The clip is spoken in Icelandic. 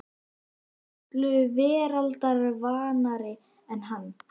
Hún var bara miklu veraldarvanari en hann.